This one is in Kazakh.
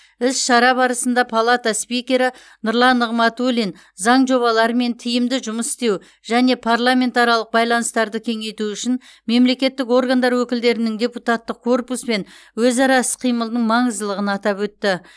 іс шара барысында палата спикері нұрлан нығматулин заң жобаларымен тиімді жұмыс істеу және парламентаралық байланыстарды кеңейту үшін мемлекеттік органдар өкілдерінің депутаттық корпуспен өзара іс қимылының маңыздылығын атап өтті